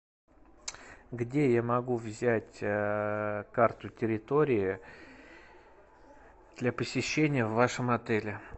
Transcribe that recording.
где я могу взять карту территории для посещения в вашем отеле